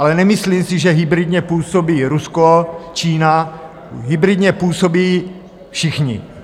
Ale nemyslím si, že hybridně působí Rusko, Čína - hybridně působí všichni.